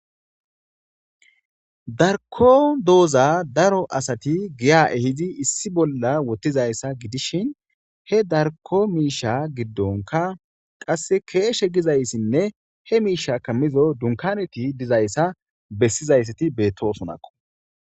Daroko doza daro asati giya ehidi issi bolla wothidaysa gidishn he Darko misha gidonka qase keeshe gizaysanne ha mishaza kamoza qase dunkaneti dizaysat betosonako.